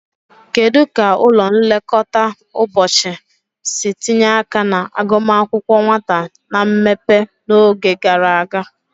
Kedu ka ụlọ nlekọta ụbọchị si tinye aka na agụmakwụkwọ nwata na mmepe n'oge gara aga?